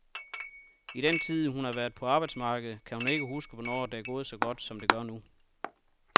I den tid, hun har været på arbejdsmarkedet, kan hun ikke huske, hvornår det er gået så godt, som det gør nu.